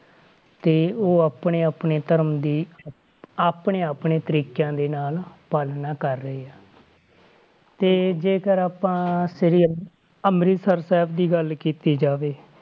ਤੇ ਉਹ ਆਪਣੇ ਆਪਣੇ ਧਰਮ ਦੀ ਆਪਣੇ ਆਪਣੇ ਤਰੀਕਿਆਂ ਦੇ ਨਾਲ ਪਾਲਣਾ ਕਰ ਰਹੇ ਆ ਤੇ ਜੇਕਰ ਆਪਾਂ ਸ੍ਰੀ ਅੰਮ੍ਰਿਤਸਰ ਸਾਹਿਬ ਦੀ ਗੱਲ ਕੀਤੀ ਜਾਵੇ,